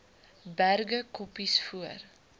berge koppies voor